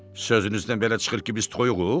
Sözünüzdən belə çıxır ki, biz toyuğuq?